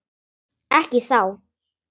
Ekki þá.